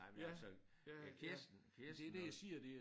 Nej men altså øh Kirsten Kirsten hun